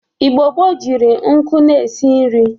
Igbo gboo jiri nkụ na-esi nri.